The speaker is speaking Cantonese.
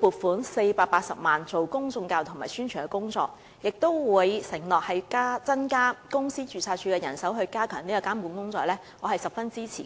撥款480萬元進行公眾教育及宣傳，亦承諾會增加公司註冊處的人手以加強監管，我對此十分支持。